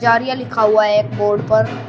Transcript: जारियां लिखा हुआ है एक बोर्ड पर।